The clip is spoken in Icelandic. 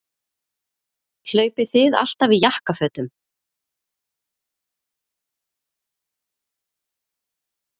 Hlaupið þið alltaf í jakkafötum?